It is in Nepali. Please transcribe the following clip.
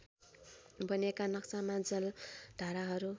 बनेका नक्शामा जलधाराहरू